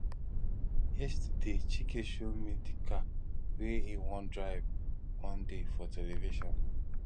yesterday chike show me the car wey e wan drive one day for television